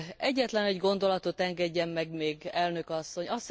Egyetlen egy gondolatot engedjen meg még, Elnök asszony!